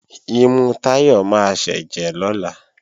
Imú Táyọ̀ máa sẹ́jẹ̀ lọ́la